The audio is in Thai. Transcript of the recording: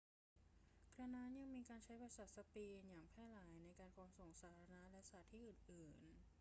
กระนั้น ยังมีการใช้ภาษาสเปนอย่างแพร่หลายในการขนส่งสาธารณะและสถานที่อื่นๆ